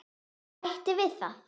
Bæta við það.